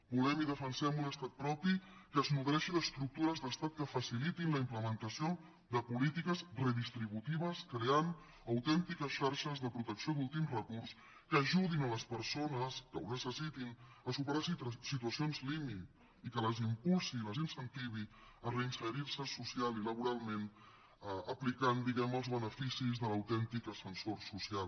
volem i defensem un estat propi que es nodreixi d’estructures d’estat que facilitin la implementació de polítiques redistributives creant autèntiques xarxes de protecció d’últim recurs que ajudin les persones que ho necessitin a superar situacions límit i que les impulsi i les incentivi a reinserir se social i laboralment aplicant diguem ne els beneficis de l’autèntic ascensor social